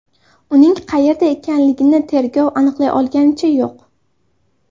Uning qayerda ekanligini tergov aniqlay olganicha yo‘q.